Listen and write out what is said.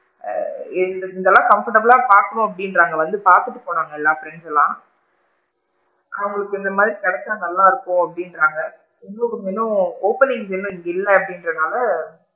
ஆ இந்த அளவுக்கு comfortable லா பாக்கனும்னா அப்படிங்றாங்க வந்து பாத்துட்டு போனாங்க எல்லா பிரெண்ட்ஸ்லா அவுங்களுக்கு இந்த மாதிரி கிடைச்சா நல்லா இருக்கும் அப்படிங்கறாங்க இன்னும் கொஞ்சம் இன்னும் openings இங்க இன்னும் இல்ல இல்ல அப்படிங்க்ரனால,